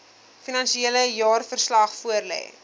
finansiële jaarverslag voorlê